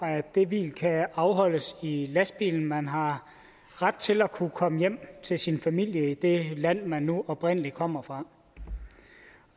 at det hvil kan afholdes i lastbilen og man har ret til at kunne komme hjem til sin familie i det land man nu oprindelig kommer fra